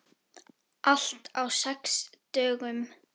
Allt á sex dögum.